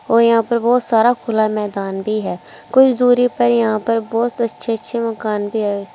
और यहां पर बहोत सारा खुला मैदान भी है कुछ दूरी पर यहां पर बहुत अच्छे अच्छे मकान भी है।